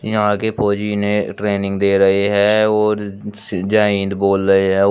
यहां के फौजी ने ट्रेनिंग दे रहे हैं और जय हिंद बोल रहे हैं और--